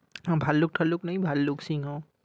ভাল্লুক ঠাল্লুক নেই? ভাল্লুক সিংহ?